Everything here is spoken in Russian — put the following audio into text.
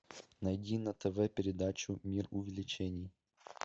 найди на тв передачу мир увлечений